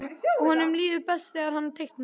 Honum líður best þegar hann teiknar.